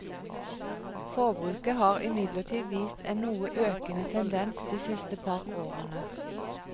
Forbruket har imidlertid vist en noe økende tendens de siste par årene.